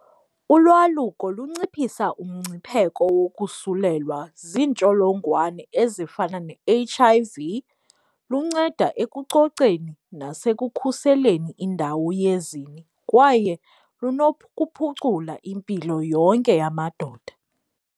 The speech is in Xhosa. Ulwaluko lunciphisa umngcipheko wokusulelwa ziintsholongwane ezifana ne-H_I_V, lunceda ekucoceni nasekukhuseleni indawo yezini kwaye lunokuphucula impilo yonke yamadoda.